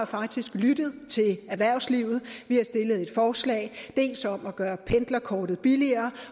faktisk lyttet til erhvervslivet vi har stillet et forslag dels om at gøre pendlerkortet billigere